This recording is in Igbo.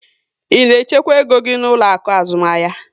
Ị na echekwa égo gị n'ụlọ akụ azụmahịa?